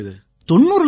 90 இலட்சம்